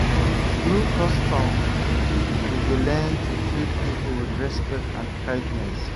Through custom, we dey learn to treat people with respect and kindness.